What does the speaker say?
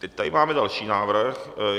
Teď tady máme další návrh.